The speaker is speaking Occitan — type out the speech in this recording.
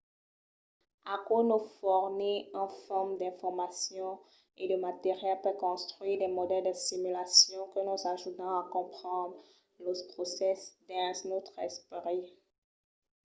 aquò nos fornís un fum d’informacion e de material per contruire de modèls de simulacion que nos ajudan a comprendre los procèsses dins nòstre esperit